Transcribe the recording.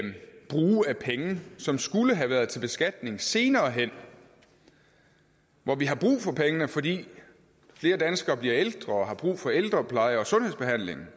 penge som skulle have været til beskatning senere hen hvor vi har brug for pengene fordi flere danskere bliver ældre og har brug for ældrepleje og sundhedsbehandling